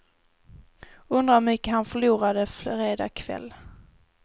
Undrar hur mycket han förlorade fredag kväll.